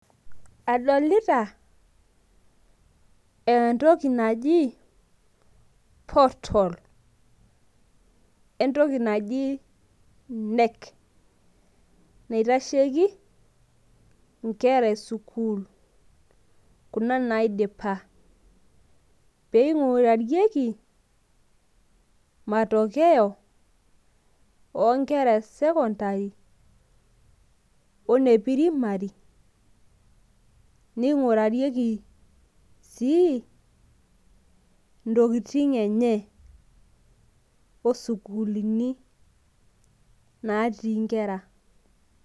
adolita entoki naji portal entoki naji knec naitasheki inkera esukuul, kuna naidipa, pee ing'urarieki matokeo oo nkera e sekontari o ne pirimari, ning'uarieki sii ntokitin enye o sukuuluni natii nkera.